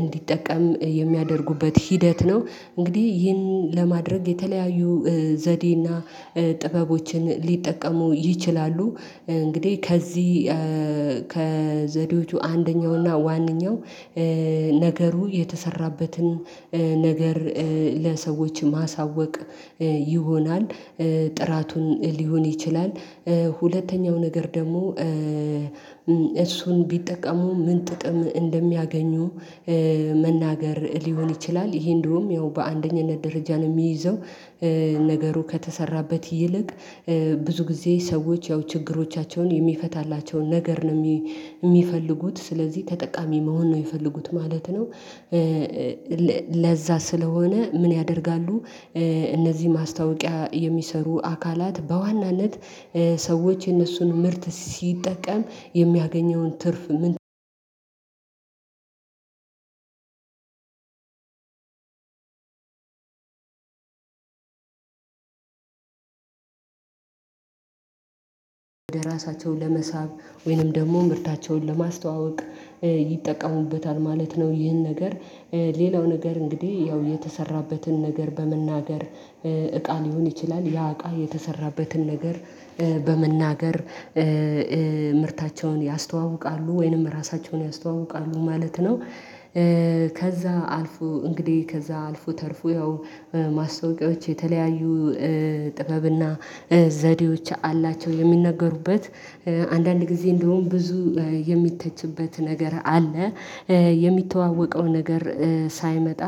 እንዲጠቀም የሚያደርጉበት ሂደት ነው። እንግዲህ ይህን ለማድረግ የተለያዩ ዘዴና ጥበቦችን ሊጠቀሙ ይችላሉ። እንግዲህ ከዚህ ከዘዴዎቹ አንደኛው እና ዋነኛው ነገሩ የተሰራበትን ነገር ለሰዎች ማሳወቅ ይሆናል። ጥራቱን ሊሆን ይችላል። ሁለተኛው ነገር ደግሞ እሱን ቢጠቀሙ ምን ጥቅም እንደሚያገኙ መናገር ሊሆን ይችላል። ይሄ እንዲያሁም ያው በአንደኝነት ደረጃ ነው የሚይዘው። ነገሩ ከተሰራበት ይልቅ ብዙ ጊዜ ሰዎች ያው ችግሮቻቸውን የሚፈታላቸውን ነገር ነው እሚፈልጉት ስለዚህ ተጠቃሚ መሆን ነው እሚፈልጉት ማለት ነው። ለዛ ስለሆነ ምን ያደርጋሉ? እነዚህ ማስታወቂያ የሚሰሩ አካላት በዋናነት ሰዎች የነሱን ምርት ሲጠቀም የሚያገኘውን ትርፍ ወደ ራሳቸው ለመሳብ ወይንም ደግሞ ምርታቸውን ለማስተዋወቅ ይጠቀሙበታል ማለት ነው። ይህን ነገር ሌላው ነገር እንግዲህ ያው የተሰራበትን ነገር በመናገር እቃን ሊሆን ይችላል ያ እቃ የተሰራበትን ነገር በመናገር ምርታቸውን ያስተዋውቃሉ ወይንም ራሳቸውን ያስተዋውቃሉ ማለት ነው። ከዛ አልፎ እንግዲህ ከዛ አልፎ ተርፎ ያው ማስታወቂያዎች የተለያዩ ጥበብና ዘዴዎች አላቸው የሚናገሩበት አንዳንድ ጊዜ እንዲሁም ብዙ የሚተችበት ነገር አለ። የሚተዋወቀው ነገር ሳይመጣ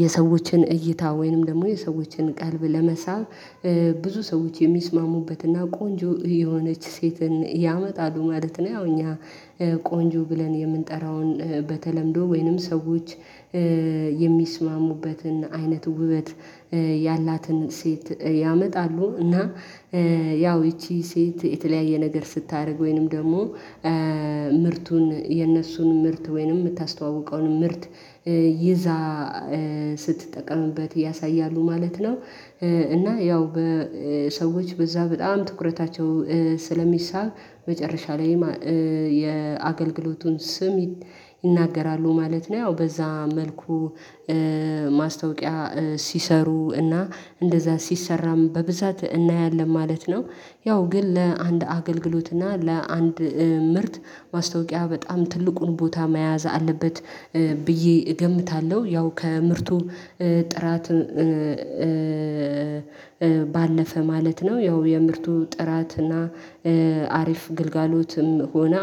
የሰዎችን እይታ ወይንም ደግሞ የሰዎችን ቀልብ ለመሳብ ብዙ ሰዎች የሚስማሙበትና ቆንጆ የሆነች ሴትን ያመጣሉ ማለት ነው። ያው እኛ ቆንጆ ብለን የምንጠራውን በተለምዶ ወይንም ሰዎች የሚስማሙበትን አይነት ውበት ያላትን ሴት ያመጣሉ እና ያው ይቺ ሴት የተለያየ ነገር ስታደርግ ወይንም ደግሞ ምርቱን የነሱን ምርት ወይንም የምታስተዋውቀውን ምርት ይዛ ስትጠቀምበት ያሳያሉ ማለት ነው። እና ያው በሰዎች በዛ በጣም ትኩረታቸው ስለሚሳብ መጨረሻ ላይ የአገልግሎቱን ስም ይናገራሉ ማለት ነው። ያው በዛ መልኩ ማስታወቂያ ሲሰሩ እና እንደዛ ሲሰራም በብዛት እናያለን ማለት ነው። ያው ግን ለአንድ አገልግሎት እና ለአንድ ምርት ማስታወቂያ በጣም ትልቁን ቦታ መያዝ አለበት ብዬ እገምታለሁ። ያው ከምርቱ ጥራት ባለፈ ማለት ነው ያው የምርቱ ጥራት እና አሪፍ ግልጋሎትም ሆነ